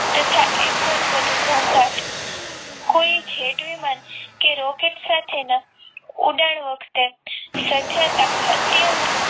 તથા એટલો જ વધુ ઘોંઘાટ કોઈ જેટ વિમાન કે rocket સાથેના ઉડાણ વખતે સર્જાતા અત્યંત